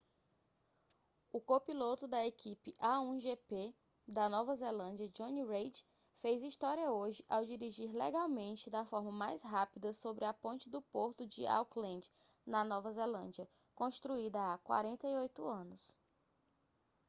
o copiloto da equipe a1gp da nova zelândia jonny reid fez história hoje ao dirigir legalmente da forma mais rápida sobre a ponte do porto de auckland nova zelândia construída há 48 anos